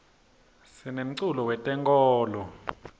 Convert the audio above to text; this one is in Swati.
sinemculo we tenkolo